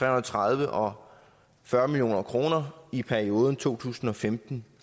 og tredive og fyrre million kroner i perioden to tusind og femten